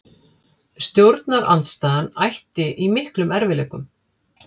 Stjórnarandstaðan ætti í miklum erfiðleikum